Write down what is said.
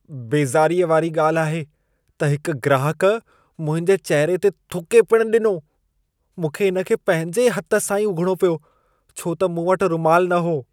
बेज़ारीअ वारी ॻाल्हि आहे त हिक ग्राहक मुंहिंजे चहिरे ते थुके पिण ॾिनो। मूंखे इन खे पंहिंजे हथ सां ई उघिणो पियो छो त मूं वटि रुमाल न हो।